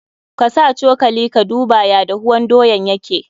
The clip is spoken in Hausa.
Ka sa cokali ka duba ya dahuwan doyan yake.